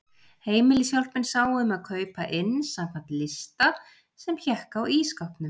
Heimilishjálpin sá um að kaupa inn samkvæmt lista sem hékk á ísskápnum.